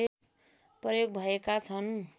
प्रयोग भएका छन्